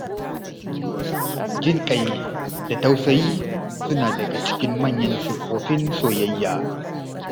Jin ƙai da tausayi suna daga cikin manyan siffofin soyayya.